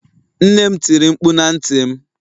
nnem tiri mkpu na ntim